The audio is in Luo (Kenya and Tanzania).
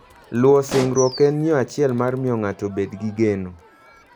Luwo singruok en yo achiel mar miyo ng'ato obed gi geno.